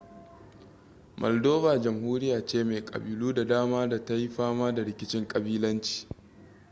maldova jamhuriya ce mai kabilu da dama da ta yi fama da rikicin kabilanci